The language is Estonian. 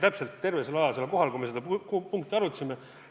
Te olite terve selle aja kohal, kui me seda punkti arutasime.